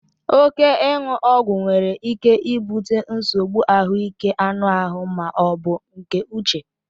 Óké iwu Ọgwụ nwere ike ibute nsogbu ahụike anụ ahụ ma ọ bụ nke uche